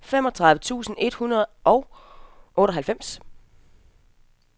femogtredive tusind et hundrede og otteoghalvfems